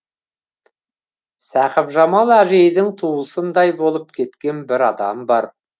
сақыпжамал әжейдің туысындай болып кеткен бір адам бар